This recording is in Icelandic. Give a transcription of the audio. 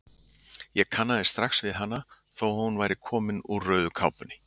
Ég kannaðist strax við hana þó að hún væri komin úr rauðu kápunni.